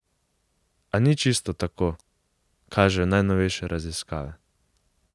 A ni čisto tako, kažejo najnovejše raziskave.